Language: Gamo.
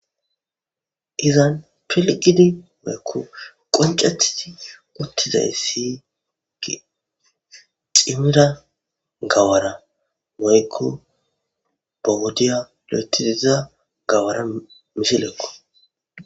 Izan pilqidi woyekko qoncathii uttizay si gi ximira gawara moykko bowodiya lo'etidiza gawaramisilekko.